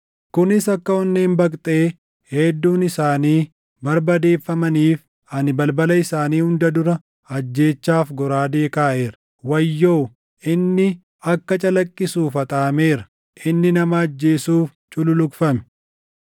Kunis akka onneen baqxee hedduun isaanii barbadeeffamaniif ani balbala isaanii hunda dura ajjeechaaf goraadee kaaʼeera. Wayyoo! Inni akka calaqqisuuf haxaaʼameera; inni nama ajjeesuuf cululuqfame.